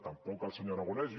tampoc el senyor aragonès